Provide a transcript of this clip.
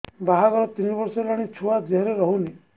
ବାହାଘର ତିନି ବର୍ଷ ହେଲାଣି ଛୁଆ ଦେହରେ ରହୁନି